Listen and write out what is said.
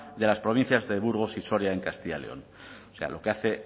de las provincias de burgos y soria en castilla león lo que hace